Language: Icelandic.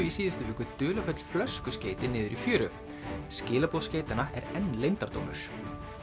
í síðustu viku dularfull flöskuskeyti niður í fjöru skilaboð er enn leyndardómur